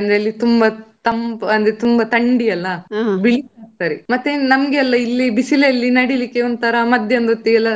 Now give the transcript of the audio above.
ಅಂದ್ರೆ ಇಲ್ಲಿ ತುಂಬಾ ತಂಪು ತುಂಬಾ ತಂಡಿಯಲ್ಲ ಆಗ್ತಾರೆ. ನಮ್ಗೆ ಎಲ್ಲಾ ಇಲ್ಲಿ ಬಿಸಿಲಲ್ಲಿ ನಡಿಲಿಕ್ಕೆ ಒಂತರಾ ಮಧ್ಯಾಹ್ನದ ಹೊತ್ತಿಗೆ ಎಲ್ಲಾ